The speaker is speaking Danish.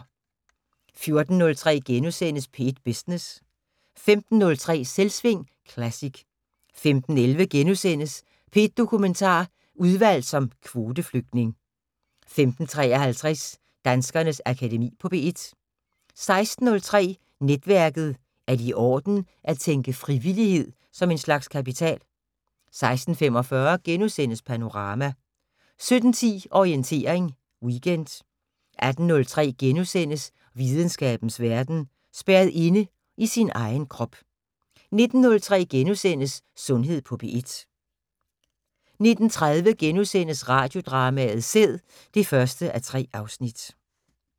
14:03: P1 Business * 15:03: Selvsving Classic 15:11: P1 Dokumentar: Udvalgt som kvoteflygtning * 15:53: Danskernes Akademi på P1 16:03: Netværket: Er det i orden at tænke frivillighed som en slags kapital? 16:45: Panorama * 17:10: Orientering Weekend 18:03: Videnskabens Verden: Spærret inde i sin egen krop * 19:03: Sundhed på P1 * 19:30: Radiodrama: Sæd (1:3)*